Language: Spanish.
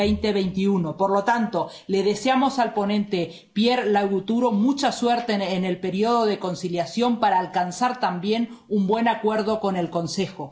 2021. Por lo tanto, le deseamos al ponente Pierre Larrouturou mucha suerte en el periodo de conciliación para alcanzar también un buen acuerdo con el Consejo.